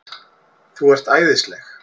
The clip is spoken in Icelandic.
ÞÚ ERT ÆÐISLEG!